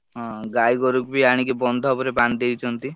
ହଁ ହଁ ଗାଈ ଗୋରୁଙ୍କୁ ବି ଆଣିକି ବନ୍ଧ ଉପରେ ବାନ୍ଧି ଦେଇଛନ୍ତି।